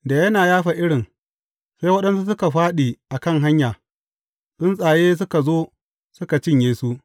Da yana yafa irin, sai waɗansu suka fāɗi a kan hanya, tsuntsaye suka zo suka cinye su.